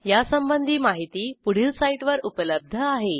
यासंबंधी माहिती पुढील साईटवर उपलब्ध आहे